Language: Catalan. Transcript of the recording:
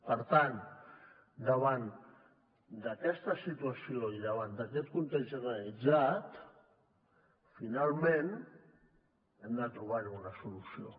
per tant davant d’aquesta situació i davant d’aquest context generalitzat finalment hem de trobar hi una solució